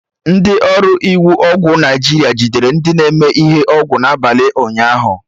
Ndị ọrụ iwu ọgwụ Naijiria jidere ndị na-eme ihe ọgwụ na abalị ụnyaahụ